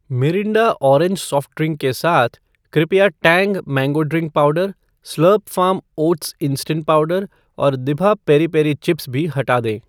Mirinda orange soft drink के साथ, कृपया Tang mango drink powder , Slurrp Farm oats instant powder और दिभा पेरी पेरी चिप्स भी हटा दें।